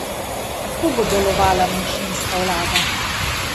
Kako bo delovala manjšinska vlada?